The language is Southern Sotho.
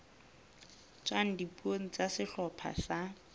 tswang dipuong tsa sehlopha sa